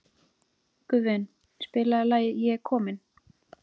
Guðvin, spilaðu lagið „Ég er kominn“.